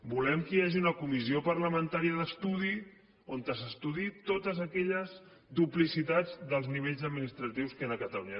volem que hi hagi una comissió parlamentària d’estudi on s’estudiïn totes aquelles duplicitats dels nivells administratius que hi han a catalunya